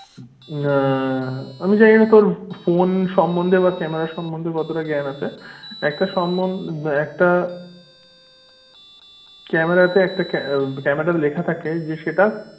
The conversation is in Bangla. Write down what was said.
হম আমি জানিনা তোর ফোন সম্বন্ধে বা ক্যামেরার সম্বন্ধে কতটা জ্ঞান আছে? এটা সম্বন্ধে একটা, ক্যামেরা তো একটা ক্যামেরা লেখা থাকে সেটা,